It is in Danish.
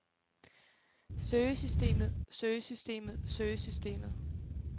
søgesystemet søgesystemet søgesystemet